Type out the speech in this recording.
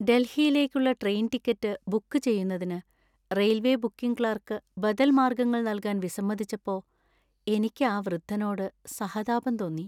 ഡൽഹിയിലേക്കുള്ള train ticket book ചെയ്യുന്നതിന് railway booking clerk ബദൽ മാർഗ്ഗങ്ങൾ നൽകാൻ വിസമ്മതിച്ചപ്പോ എനിക്ക് ആ വൃദ്ധനോട് സഹതാപം തോന്നി.